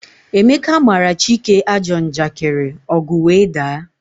Emeka mara Chike ajọ njakiri, ọgu wee daa